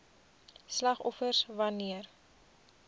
slagoffers wan neer